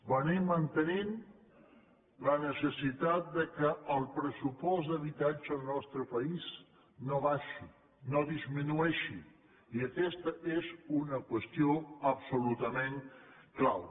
hem estat mantenint la necessitat que el pressupost d’habitatge al nostre país no baixi no disminueixi i aquesta és una qüestió absolutament clau